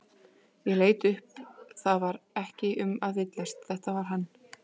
Ég leit upp það var ekki um að villast, þetta var hann.